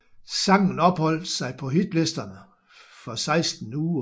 Sangen opholdt sig på hitlisterne for seksten uger